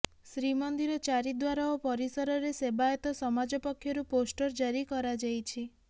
ଶ୍ରୀମନ୍ଦିର ଚାରି ଦ୍ୱାର ଓ ପରିସରରେ ସେବାୟତ ସମାଜ ପକ୍ଷରୁ ପୋଷ୍ଟର ଜାରି କରାଯାଇଛି